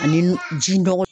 Ani ji nɔgɔ